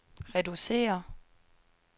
reducere